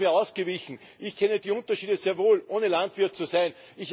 Da sind Sie mir ausgewichen. Ich kenne die Unterschiede sehr wohl, ohne Landwirt zu sein.